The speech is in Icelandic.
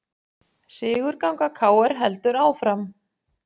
Sigurganga KR heldur áfram